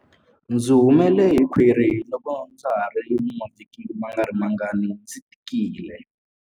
Ndzi humele hi khwiri loko ndza ha ri na mavhiki mangarimangani ndzi tikile.